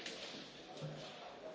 Cari colleghi,